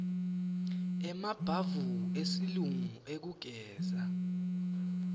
emabhavu esilungu ekugezela